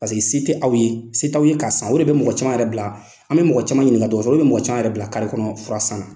se tɛ aw ye, se tɛ aw ye k'a san o de bɛ mɔgɔ caman yɛrɛ bila, an bɛ mɔgɔ caman ɲininka, dɔkitɔriw bɛ mɔgɔ cama yɛrɛ bila kari kɔnɔ fura san na.